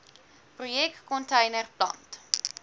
projek container plant